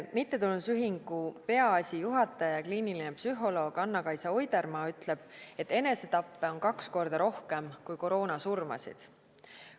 Mittetulundusühingu Peaasi juhataja, kliiniline psühholoog Anna-Kaisa Oidermaa ütleb, et enesetappe on kaks korda rohkem kui koroonasurmasid.